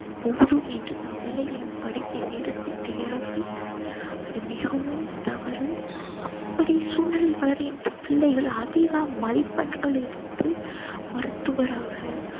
போதும் என்று தம் பிள்ளைகளின் படிப்பை நிறுத்திவிடுகிறார்கள். அது மிகவும் தவறு. அப்படி சூழ்நிலையில் வளர்கின்ற பிள்ளைகள் அதிகம் மதிப்பெண்கள் எடுத்து மருத்துவராக